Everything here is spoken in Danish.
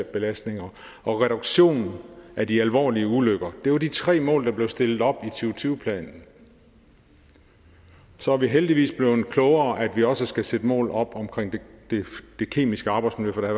belastninger og reduktion af de alvorlige ulykker var jo de tre mål der blev stillet op og tyve planen så er vi heldigvis blevet klogere til at vi også skal sætte mål op om det kemiske arbejdsmiljø for der